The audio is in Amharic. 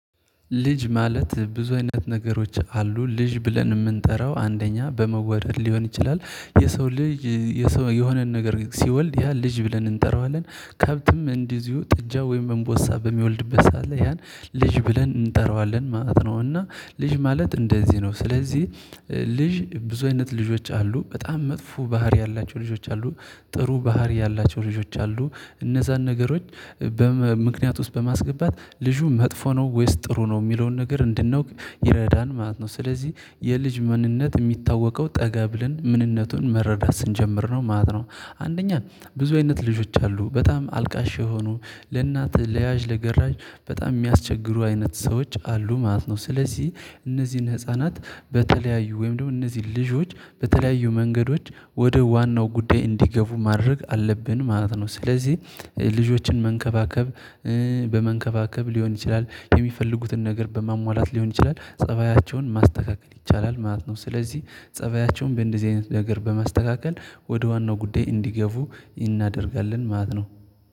ልጅ ማለት ብዙ አይነት ነገሮች አሉ ልጅ ብለን የምንጠራው አንደኛ በመወለድ ሊሆን ይችላል የሰው ልጅ የሆነን ነገር ሲወልድ ያ ልጅ ብለን እንጠራዋለን ከብትም እንዲሁ ጥጃ ወይም እንቦሳ በሚወልድበት ሰዓት ላይ ያን ልጅ ብለን እንጠራዋለን ማለት ነው። እና ልጅ ማለት እንደዚህ ነው ስለዚህ ልጅ ብዙ አይነት ልጆች አሉ በጣም መጥፎ ባህሪ ያላቸው ልጆች አሉ። ጥሩ ባህሪ ያላቸው ልጆች አሉ። እነዛን ነገሮች በምክንያት ውስጥ በማስገባት ልጁ መጥፎ ነው ወይስ ጥሩ ነው የሚለውን ነገር እንድንወቅ ይረዳን ማለት ነው። ስለዚህ የልጅ ምንነት የሚታወቀው ጠገብልን ምንነቱን መረዳት ስንጀምር ነው ማለት ነው። አንደኛ ብዙ አይነት ልጆች አሉ በጣም አልቃሽ የሆኑ ለእናትህ ለያዥ ለገራዥ በጣም የሚያስቸግሩ አይነት ሰዎች አሉ ማለት ነው። ስለዚህ እነዚህን ህፃናት በተለያዩ ወይም ደግሞ እነዚህ ልጆች በተለያዩ መንገዶች ወደ ዋናው ጉዳይ እንዲገቡ ማድረግ አለብን ማለት ነው። ስለዚህ ልጆችን መንከባከብ በመንከባከብ ሊሆን ይችላል የሚፈልጉትን ነገር በማሟላት ሊሆን ይችላል ፀባያቸውን ማስተካከል ይቻላል ማለት ነው። ስለዚህ ፀባያቸውን እንደዚህ አይነት ነገር በማስተካከል ወደ ዋናው ጉዳይ እንዲገቡ እናደርጋለን ማለት ነው